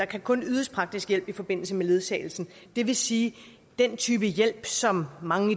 kun ydes praktisk hjælp i forbindelse med ledsagelsen det vil sige den type hjælp som mange